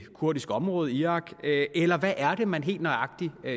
kurdiske område i irak eller hvad er det man helt nøjagtig